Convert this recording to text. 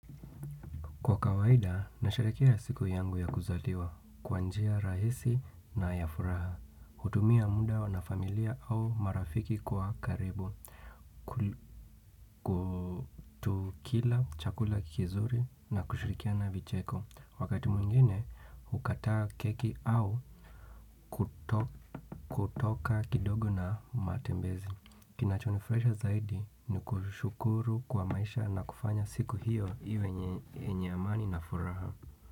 Kwa kawaida, nasharekea siku yangu ya kuzaliwa, kwa njia rahisi na ya furaha, hutumia muda wana familia au marafiki kwa karibu. Tukila chakula kizuri na kushirikiana vicheko, wakati mwingune hukataa keki au kuto kutoka kidogo na matembezi. Kinachonifurahisha zaidi ni kushukuru kwa maisha na kufanya siku hiyo iwe enye amani na furaha.